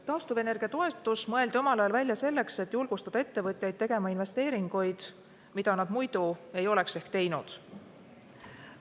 Taastuvenergia toetus mõeldi omal ajal välja selleks, et julgustada ettevõtjaid tegema investeeringuid, mida nad muidu ei oleks ehk teinud.